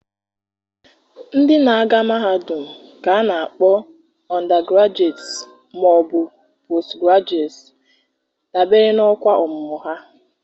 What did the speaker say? ndị na-aga mahadum ka a na-akpọ undergraduates ma ọ bụ postgraduate, dabere n'ọkwa ọmụmụ ha.